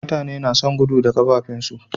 Mutane nason gudu da kafafin su